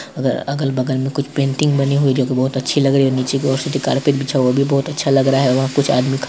अगल अगल बगल में कुछ पेंटिंग बनी हुई है जो की बहुत अच्छी लग रही है | निचे की और से जो कारपेट बिछा हुआ हैवो भी बहुत अच्छा लग रहा है | वहां कुछ आदमी खड़े --